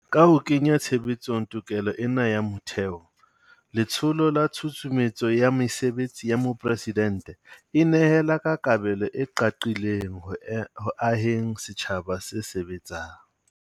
Ka ho kenya tshebetsong tokelo ena ya motheo, Letsholo la tshusumetso ya mesebetsi ya mopresidente e nehela ka kabelo e qaqileng ho e ho aheng setjhaba se sebetsang.